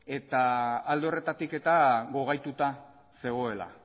eta alde horretatik eta gogaituta zegoela